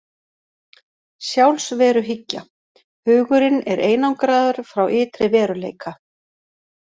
Sjálfsveruhyggja: Hugurinn er einangraður frá ytri veruleika.